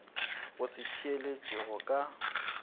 go se theeletše go ka